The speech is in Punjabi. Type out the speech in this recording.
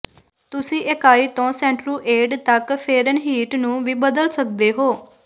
ਤੁਸੀਂ ਇਕਾਈ ਤੋਂ ਸੈਂਟਰੁਏਡ ਤੱਕ ਫੇਰਨਹੀਟ ਨੂੰ ਵੀ ਬਦਲ ਸਕਦੇ ਹੋ